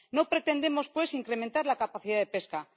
No pretendemos, pues, incrementar la capacidad de pesca.